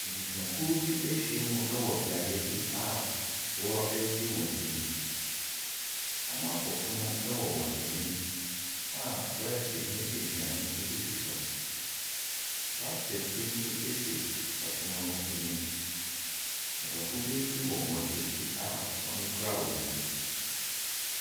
Abusuakuo bi ahyia mu wɔ beaeɛ bi a wɔregye wɔn ani. Wɔato pono wɔ wɔn anim a prɛɛte ne aduane sisi so. Basket bi nso si pono no anim. Adɔfoɔ bi nso wɔ wɔn akyi a wɔkura wɔn mu.